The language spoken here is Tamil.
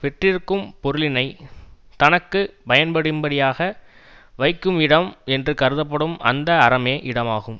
பெற்றிருக்கும் பொருளினை தனக்கு பயன்படும்படியாக வைக்கும் இடம் என்று கருதப்படும் அந்த அறமே இடமாகும்